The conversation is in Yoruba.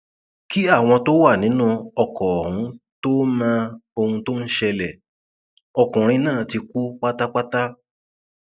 kí àwọn tó wà nínú ọkọ ọhún tóo mọ ohun tó ń ṣẹlẹ ọkùnrin náà ti kú pátápátá